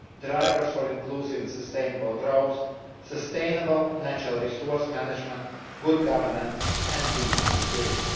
drivers for inclusive and sustainable growth, sustainable natural resource management, good governance, and peace and security.